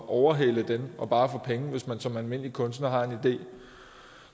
overhale dem og bare få penge hvis man som almindelig kunstner har en idé